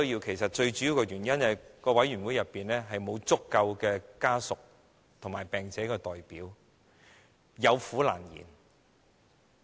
其實最主要的原因是，委員會內沒有足夠的病者和其家屬的代表，有苦難言。